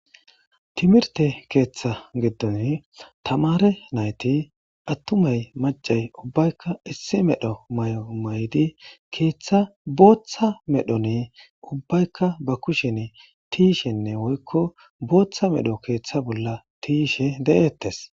Timirte keeththa giddon tamare nayti attumay macay ubbaykka issi medho may7o maydi keeththa booththa medhoni ubbaykka ba kushen tiishenne woykko booththa medho keeththa bolla tiishe de7eettes